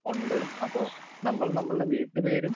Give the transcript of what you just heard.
speaker 2 ഒണ്ട് അപ്പോൾ നമ്മൾ നമ്മളുടെ വീട്ടുപേരും